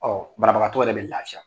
Ɔ banabagatɔ yɛrɛ bɛ lafiya